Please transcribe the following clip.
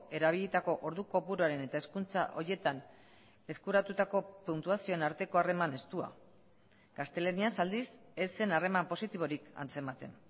erabilitako ordu kopuruaren eta hezkuntza horietan eskuratutako puntuazioen arteko harreman estua gaztelaniaz aldiz ez zen harreman positiborik antzematen